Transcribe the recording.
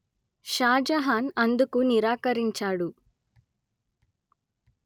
షాజహాన్ అందుకు నిరాకరించాడు